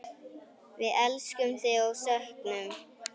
Við elskum þig og söknum.